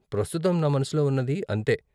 ప్రస్తుతం నా మనసులో ఉన్నది అంతే.